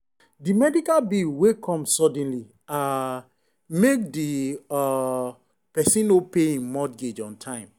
the medical bill wey come suddenly um make the um person no pay him mortgage on time.